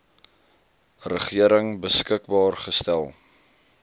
regering beskikbaar gestel